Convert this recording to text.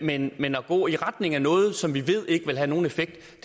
men men at gå i retning af noget som vi ved ikke vil have nogen effekt